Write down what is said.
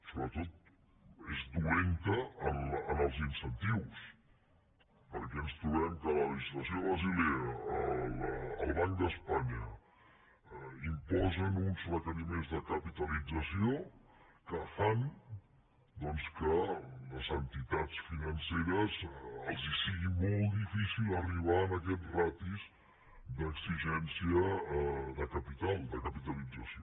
sobretot és dolenta en els incentius perquè ens trobem que la legislació de basilea el banc d’espanya imposen uns requeriments de capitalització que fan que a les entitats financeres els sigui molt difícil arribar a aquestes ràtios d’exigència de capital de capitalització